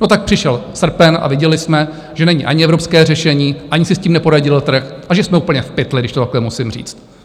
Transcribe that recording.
No, tak přišel srpen a viděli jsme, že není ani evropské řešení, ani si s tím neporadil trh a že jsme úplně v pytli, když to takhle musím říct.